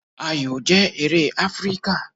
Ayò jẹ́ eré Áfríkà.